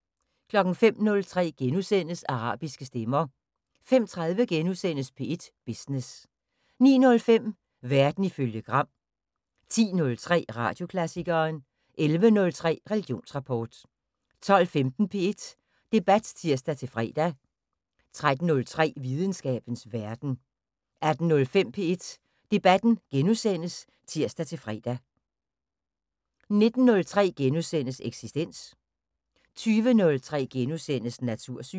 05:03: Arabiske stemmer * 05:30: P1 Business * 09:05: Verden ifølge Gram 10:03: Radioklassikeren 11:03: Religionsrapport 12:15: P1 Debat (tir-fre) 13:03: Videnskabens Verden 18:05: P1 Debat *(tir-fre) 19:03: Eksistens * 20:03: Natursyn *